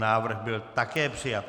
Návrh byl také přijat.